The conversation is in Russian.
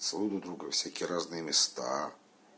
целуют друг друга во всякие разные места